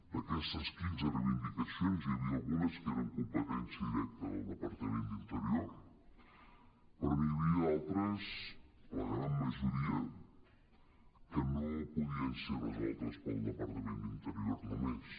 d’aquestes quinze reivindicacions n’hi havia algunes que eren competència di·recta del departament d’interior però n’hi havia d’altres la gran majoria que no podien ser resoltes pel departament d’interior només